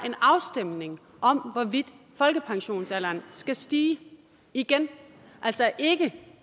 en afstemning om hvorvidt folkepensionsalderen skal stige igen altså ikke